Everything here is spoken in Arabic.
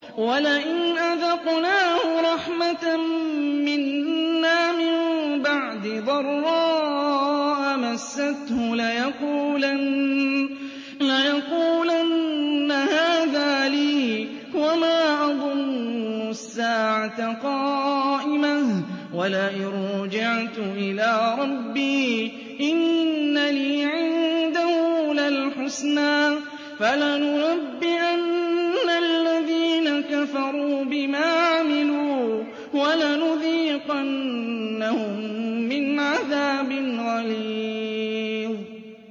وَلَئِنْ أَذَقْنَاهُ رَحْمَةً مِّنَّا مِن بَعْدِ ضَرَّاءَ مَسَّتْهُ لَيَقُولَنَّ هَٰذَا لِي وَمَا أَظُنُّ السَّاعَةَ قَائِمَةً وَلَئِن رُّجِعْتُ إِلَىٰ رَبِّي إِنَّ لِي عِندَهُ لَلْحُسْنَىٰ ۚ فَلَنُنَبِّئَنَّ الَّذِينَ كَفَرُوا بِمَا عَمِلُوا وَلَنُذِيقَنَّهُم مِّنْ عَذَابٍ غَلِيظٍ